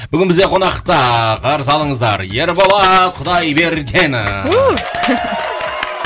бүгін бізде қонақта қарсы алыңыздар ерболат құдайбергенов